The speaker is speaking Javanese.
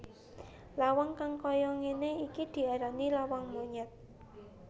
Lawang kang kaya ngene iki diarani lawang monyet